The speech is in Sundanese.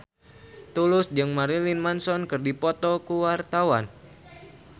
Tulus jeung Marilyn Manson keur dipoto ku wartawan